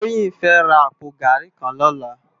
Toyin fè rá àpó gàrí kàn lòlá